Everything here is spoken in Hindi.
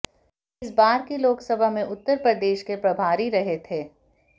वे इस बार के लोकसभा में उत्तर प्रदेश के प्रभारी रहे थे